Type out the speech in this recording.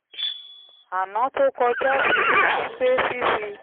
aná tó kọjá fi hàn mí pé fífi